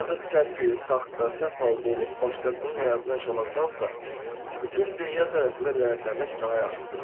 Ancaq səhv, saxta, səhv halda olub başqasının həyatını yaşamaqdansa, bütün dünya tərəfindən ləyətlənmək daha yaxşısıdır.